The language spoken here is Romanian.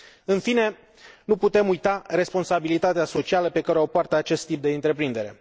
În fine, nu putem uita responsabilitatea socială pe care o poartă acest tip de întreprindere.